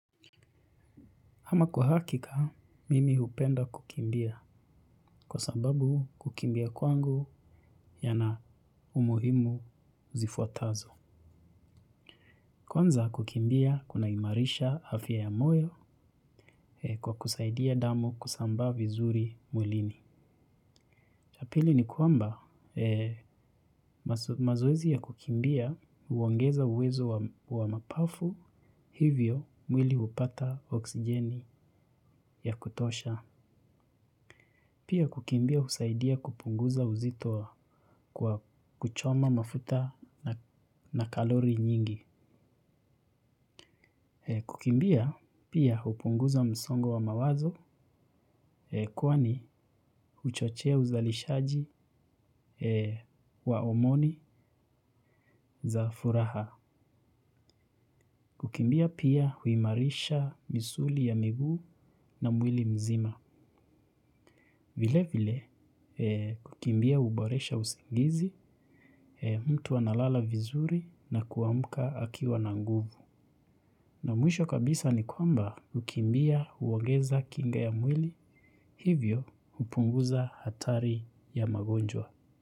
Ama kwa hakika, mimi hupenda kukimbia kwa sababu kukimbia kwangu yana umuhimu zifuatazo. Kwanza kukimbia kunaimarisha afya ya moyo kwa kusaidia damu kusambaa vizuri mwilini. Cha pili ni kwamba mazoezi ya kukimbia uongeza uwezo wa mapafu hivyo mwili hupata oksijeni ya kutosha. Pia kukimbia husaidia kupunguza uzito kwa kuchoma mafuta na kalori nyingi. Kukimbia pia hupunguza msongo wa mawazo kuwa huchochea uzalishaji wa homoni za furaha. Kukimbia pia huimarisha misuli ya miguu na mwili mzima. Vile vile kukimbia huboresha usingizi, mtu analala vizuri na kuamka akiwa na nguvu. Na mwisho kabisa ni kwamba kukimbia huongeza kinga ya mwili hivyo hupunguza hatari ya magonjwa.